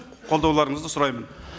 қолдауларыңызды сұраймын